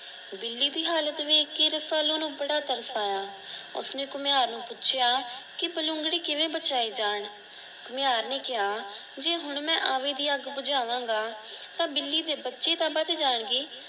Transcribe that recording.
ਬਿੱਲੀ ਦੀ ਹਾਲਤ ਵੇਖ ਕੇ ਰਸਾਲੂ ਨੂੰ ਬੜਾ ਤਰਸ ਆਇਆ। ਉਸਨੇ ਘੁਮਿਆਰ ਨੂੰ ਪੁੱਛਿਆ ਕਿ ਬਲੂੰਗੜੇ ਕਿਸੇ ਬਚਾਏ ਜਾਨ ਘੁਮਿਆਰ ਨੇ ਕਿਆ ਜੇ ਮੈਂ ਹੁਣ ਆਵੀ ਦੀ ਅੱਗ ਹੁਣ ਬੁਜਾਮਾਗਾ ਤਾਂ ਬਿੱਲੀ ਦੇ ਬੱਚੇ ਤਾਂ ਬਚ ਜਾਣਗੇ।